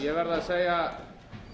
ég verð að segja